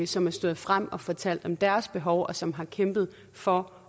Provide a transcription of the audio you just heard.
som er stået frem og har fortalt om deres behov og som har kæmpet for